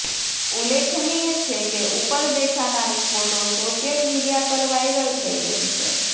ઉલ્લેખનીય છે કે ઉપર દેખાનારી ફોટો સોશિયલ મીડિયા પર વાયરલ થઈ રહી છે